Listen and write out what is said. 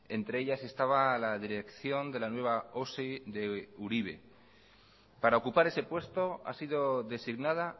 entre ellas estaba la dirección de la nueva osi de uribe para ocupar ese puesto ha sido designada